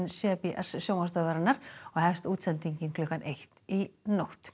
c b s sjónvarpsstöðvarinnar og hefst útsendingin klukkan eitt í nótt